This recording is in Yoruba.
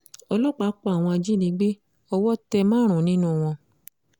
ọlọ́pàá pa àwọn ajìnígbé owó tẹ márùn-ún nínú wọn